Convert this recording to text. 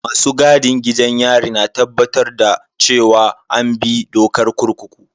Masu gadin gidan yari na tabbatar da cewa an bi dokar kurkuku.